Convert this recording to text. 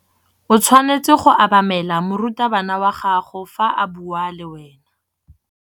O tshwanetse go obamela morutabana wa gago fa a bua le wena.